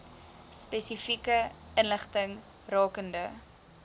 spesifieke inligting rakende